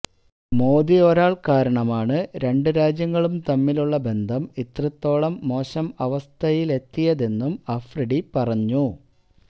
മോദി ഒരാള് കാരണമാണ് രണ്ട് രാജ്യങ്ങളും തമ്മിലുള്ള ബന്ധം ഇത്രത്തോളം മോശം അവസ്ഥയിലെത്തിയതെന്നും അഫ്രീദി പറഞ്ഞു